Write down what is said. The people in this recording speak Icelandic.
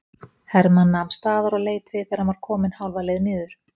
Hermann nam staðar og leit við þegar hann var kominn hálfa leið niður.